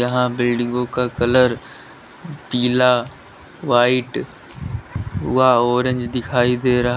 यहां बिल्डिगो का कलर पीला व्हाइट व ऑरेंज दिखाई दे रहा--